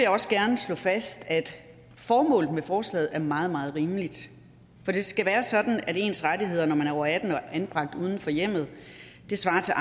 også gerne slå fast at formålet med forslaget er meget meget rimeligt for det skal være sådan at ens rettigheder når man er over atten år og anbragt uden for hjemmet svarer til